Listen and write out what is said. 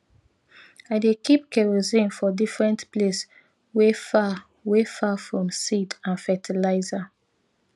i dey keep kerosene for different place wey far wey far from seed and fertiliser